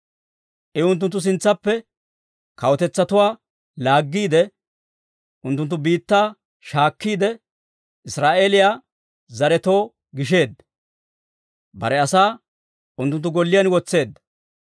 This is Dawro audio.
I unttunttu sintsaappe kawutetsatuwaa laaggiide, unttunttu biittaa shaakkiide, Israa'eeliyaa zaretoo gisheedda. Bare asaa unttunttu golliyaan wotseedda.